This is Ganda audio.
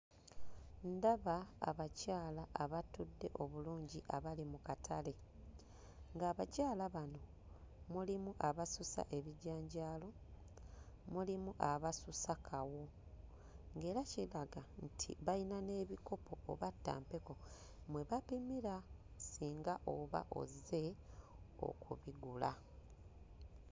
Ndaba abakyala abatudde obulungi abali mu katale nga abakyala abano mulimu abasusa ebijanjaalo, mulimu asusa kawo ng'era kiraga bayina n'ebikopo oba ttampeko mwe bapimira singa oba ozze okubigula.